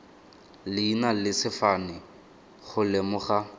leina le sefane go lemoga